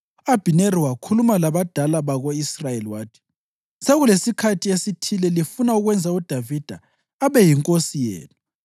U-Abhineri wakhuluma labadala bako-Israyeli wathi, “Sekulesikhathi esithile lifuna ukwenza uDavida abe yinkosi yenu.